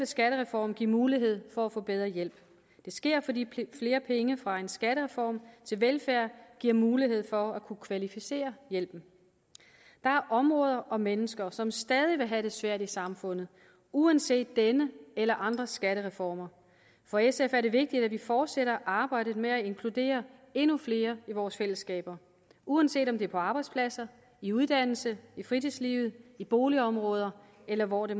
skattereformen give mulighed for at få bedre hjælp det sker fordi flere penge fra en skattereform til velfærd giver mulighed for at kunne kvalificere hjælpen der er områder og mennesker som stadig vil have det svært i samfundet uanset denne eller andre skattereformer for sf er det vigtigt at vi fortsætter arbejdet med at inkludere endnu flere i vores fællesskaber uanset om det er på arbejdspladser i uddannelser i fritidslivet i boligområder eller hvor det